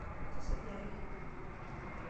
Mikisuj ahe.